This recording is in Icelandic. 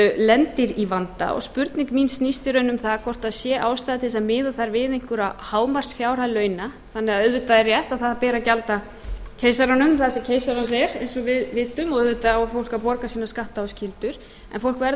lendir í vanda spurning mín snýst í raun um það hvort það sé ástæða til að miða þar við einhverja hámarksfjárhæð launa auðvitað er rétt að það ber að gjalda keisaranum það sem keisarans er eins og við vitum og auðvitað á fólk að borga sína skatta og skyldur en fólk verður